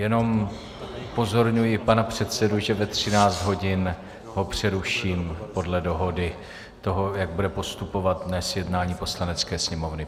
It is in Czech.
Jenom upozorňuji pana předsedu, že ve 13 hodin ho přeruším podle dohody toho, jak bude postupovat dnes jednání Poslanecké sněmovny.